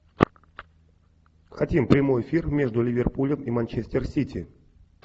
хотим прямой эфир между ливерпулем и манчестер сити